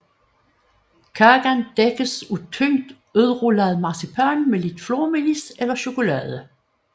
Kagen dækkes af tyndt udrullet marcipan med lidt flormelis eller chokolade